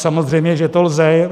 Samozřejmě že to lze.